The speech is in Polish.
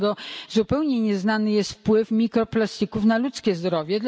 Do tego zupełnie nieznany jest wpływ mikroplastików na ludzkie zdrowie.